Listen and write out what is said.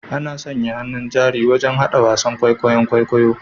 Ana sanya hannun jari wajen hada wasan kwaikwayon kwaikwayo